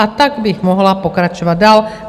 A tak bych mohla pokračovat dál.